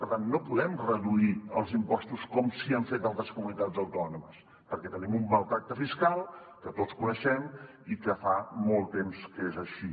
per tant no podem reduir els impostos com sí que ho han fet altres comunitats autònomes perquè tenim un maltractament fiscal que tots coneixem i que fa molt temps que és així